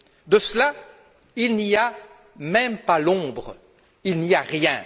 De cela, il n'y a même pas l'ombre, il n'y a rien.